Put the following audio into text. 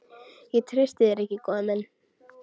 Ég treysti þér ekki, góði minn.